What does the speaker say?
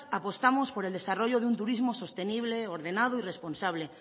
apostamos por el desarrollo de un turismo sostenible ordenado y responsable